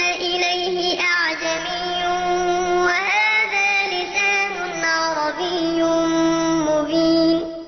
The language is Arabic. إِلَيْهِ أَعْجَمِيٌّ وَهَٰذَا لِسَانٌ عَرَبِيٌّ مُّبِينٌ